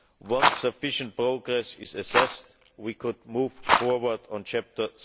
Once sufficient progress is assessed, we could move forward on Chapter